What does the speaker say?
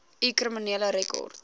u kriminele rekord